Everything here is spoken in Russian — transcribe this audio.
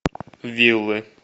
вилы